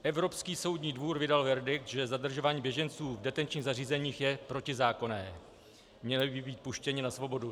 Evropský soudní dvůr vydal verdikt, že zadržování běženců v detenčních zařízeních je protizákonné, měli by být puštěni na svobodu.